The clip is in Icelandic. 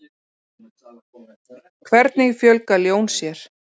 Hvernig fjölga ljón sér?